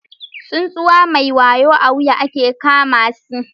Tsuntsu mai wayo a wuya ake kama si.